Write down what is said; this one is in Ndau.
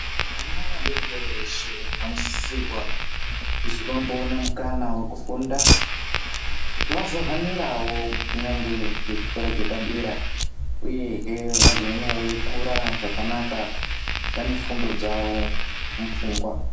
Vana vadoridori veshe, vanosisirwa kuzi vamboona mukana wekufunda, kuti vazohanirawo kunyangwe ngechikora chepadera uyehe, vazoone veikura zvakanaka, vane fundo dzawo mupfungwa.